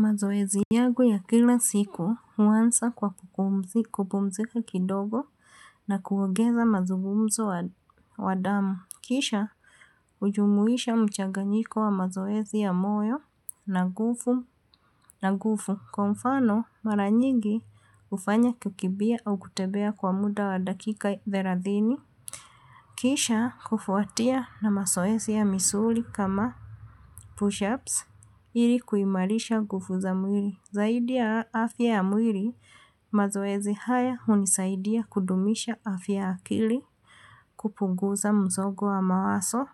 Mazoezi yangu ya kila siku huanza kwa kupumzika kidogo na kuongeza mazungumzo wa damu. Kisha hujumuisha mchaganyiko wa mazoezi ya moyo na nguvu na nguvu. Kwa mfano mara nyigi hufanya kukimbia au kutembea kwa muda wa dakika thelathini. Kisha kufuatia na mazoezi ya misuli kama push-ups ili kuimarisha nguvu za mwili. Zaidi ya afya ya mwili, mazoezi haya hunisaidia kudumisha afya akili, kupunguza msongo wa mawazo